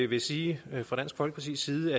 vil sige at vi fra dansk folkepartis side